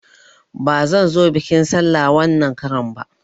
Bazan zo biƙin sallah wanan karan ba